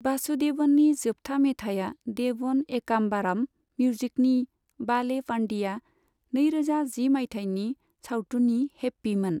वासुदेवननि जोबथा मेथाया देवन एकामबाराम मिउजिकनि 'बाले पांडिया', नैरोजा जि मायथाइनि सावथुननि 'हैप्पी' मोन।